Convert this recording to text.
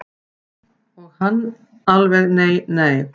Og hann alveg nei nei.